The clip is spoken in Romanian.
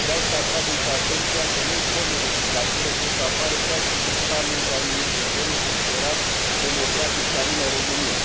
Vreau să atrag, însă, atenția că noi forme de dictatură pot să apară, chiar și într un stat membru al Uniunii Europene considerat democratic, și anume România.